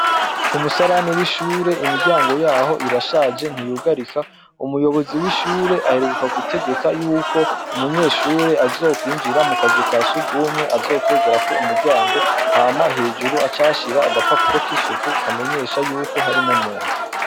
Ku musarani w'ishure, imiryango yaho irashaje, ntiyugarika. Umuyobozi w'ishure aheruka gutegeka yuko umunyeshure azokwinjira mu kazu ka sugwumwe azokwegerako umuryango hama hejuru ace ahashira agapapuro k'isuku, kamenyesha yuko harimwo umuntu.